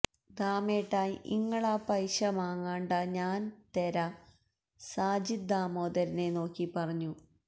ദാമേട്ടാ ഇങ്ങളാ പയ്ശ മാങ്ങണ്ടാ ഞാ തെരാ സാജിദ് ദാമോദരനെ നോക്കി പറഞ്ഞു